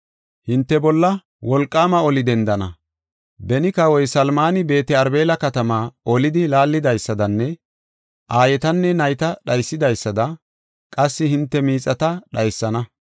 Hinte bolla wolqaama oli dendana; beni Kawoy Salmani Beet-Arbela katamaa olidi laallidaysadanne aayetanne nayta dhaysidaysada qassi hinte miixata dhaysana.